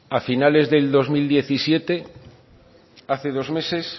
a finales del dos mil diecisiete hace dos meses